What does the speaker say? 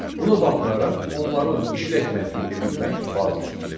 Buna baxmayaraq, onların işlək məntiqini bilmək vacibdir.